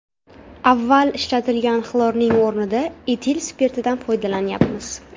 Avval ishlatilgan xlorning o‘rnida etil spirtidan foydalanyapmiz.